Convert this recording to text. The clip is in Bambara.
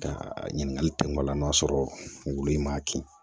Ka ɲininkali kɛ o la n'a sɔrɔ wulu in m'a kin